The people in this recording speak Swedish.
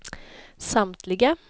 samtliga